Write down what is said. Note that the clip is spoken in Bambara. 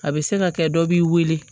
A bɛ se ka kɛ dɔ b'i wele